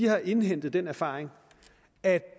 har indhentet den erfaring at